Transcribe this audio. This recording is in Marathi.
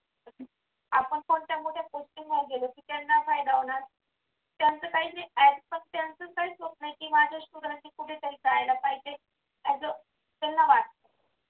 आपण कोणत्या मोठ्या त्यांना फायदा होणार त्यांचं काही ते स्वप्न आहे माझ्या student कुठेतरी करायला पाहिजे असं त्यांना वाटतं.